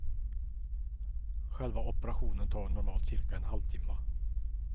Själva operationen tar normalt cirka en halvtimma.